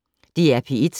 DR P1